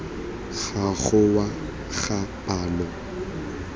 ga go wa ga palo